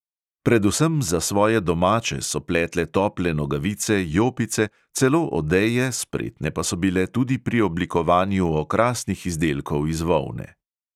Predvsem za svoje domače so pletle tople nogavice, jopice, celo odeje, spretne pa so bile tudi pri oblikovanju okrasnih izdelkov iz volne.